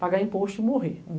Pagar imposto e morrer.